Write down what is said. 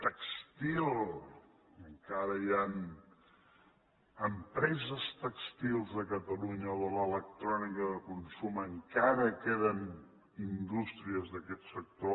tèxtil encara hi han empreses tèxtils a catalunya o de l’electrònica de consum encara queden indústries d’aquest sector